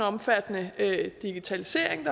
omfattende digitalisering